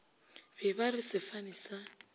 be ba re sefane sa